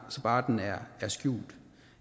bare den er skjult